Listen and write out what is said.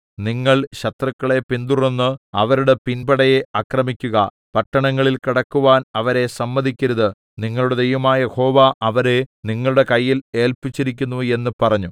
നിങ്ങൾ ശത്രുക്കളെ പിന്തുടർന്ന് അവരുടെ പിൻപടയെ ആക്രമിക്കുക പട്ടണങ്ങളിൽ കടക്കുവാൻ അവരെ സമ്മതിക്കരുത് നിങ്ങളുടെ ദൈവമായ യഹോവ അവരെ നിങ്ങളുടെ കയ്യിൽ ഏല്പിച്ചിരിക്കുന്നു എന്ന് പറഞ്ഞു